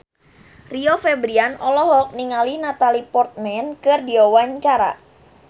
Rio Febrian olohok ningali Natalie Portman keur diwawancara